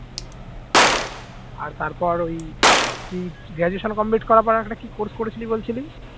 আর তারপর ওই তুই graduation complete করার পর আর একটা কি course করেছিলি বলছিলি